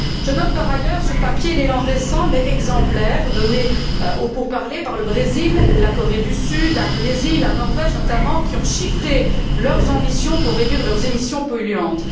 Je note, par ailleurs, sur papier, l'élan récent mais exemplaire donné aux pourparlers par le Brésil, la Corée du Sud, l'Indonésie et la Norvège, notamment, qui ont chiffré leurs ambitions pour réduire leurs émissions polluantes.